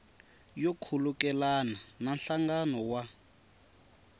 yo khulukelana na nhlangano wa